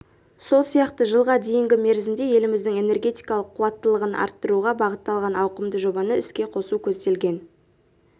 сол сияқты жылға дейінгі мерзімде еліміздің энергетикалық қуаттылығын арттыруға бағытталған ауқымды жобаны іске қосу көзделген